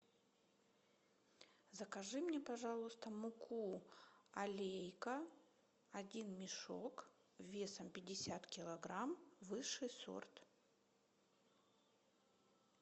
закажи мне пожалуйста муку алейка один мешок весом пятьдесят килограмм высший сорт